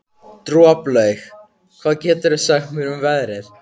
Droplaug, hvað geturðu sagt mér um veðrið?